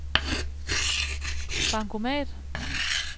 bankomat